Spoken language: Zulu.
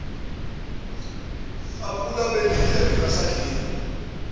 aphula abelidla lingasadleki